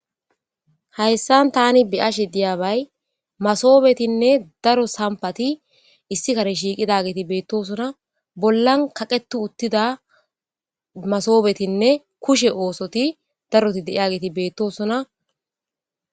hayssan tani biyashe diyabay masobetinne daro sampati issi kane shiiqida geeti beettosona bollan kaqetu uttida masobetinne kushe oosoti daroti deia geeti beettosona